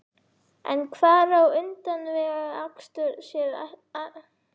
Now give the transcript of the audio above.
En hvar á utanvegaakstur sér aðallega stað?